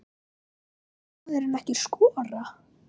Vildi maðurinn ekki skora?